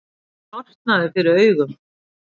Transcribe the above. Sortnaði fyrir augum.